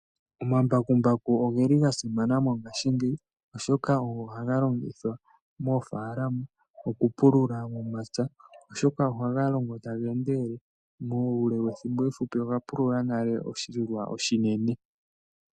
Omambakumbaku ogeli ga simana mongaashigeyi, oshoka ogo haga longithwa moofaalama oku pulula omapya, oshoka ohaga longo taga endelele muule wethimbo efupi owa pulula nale oshilwa oshinene.